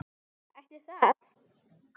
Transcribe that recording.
Ætli það?